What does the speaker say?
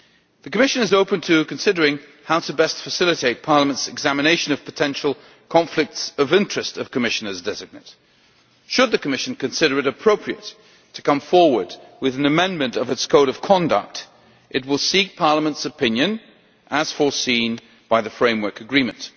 The Commission is open to considering how best to facilitate Parliament's examination of potential conflicts of interest of Commissioners designate. Should the Commission consider it appropriate to come forward with an amendment to its Code of Conduct, it will seek Parliament's opinion, as foreseen by the Framework Agreement.